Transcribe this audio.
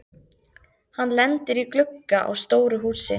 Hann lendir í glugga á stóru húsi.